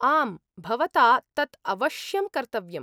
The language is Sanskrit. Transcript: आम्, भवता तत् अवश्यं कर्तव्यम्।